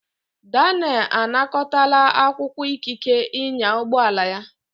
Daniel anakọtala akwụkwọ ikike ịnya ụgbọ ala ya.